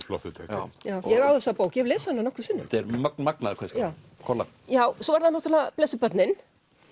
flottur texti ég á þessa bók ég hef lesið hana nokkrum sinnum magnaður kveðskapur kolla svo eru það náttúrulega blessuð börnin